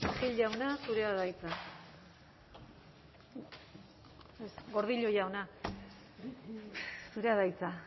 buruz gordillo jauna zurea da hitza